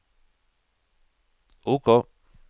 OK